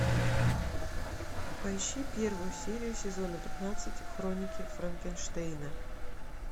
поищи первую серию сезона пятнадцать хроники франкенштейна